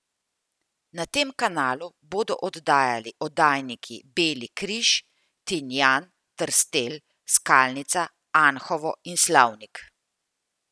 Na tem kanalu bodo oddajali oddajniki Beli Križ, Tinjan, Trstelj, Skalnica, Anhovo in Slavnik.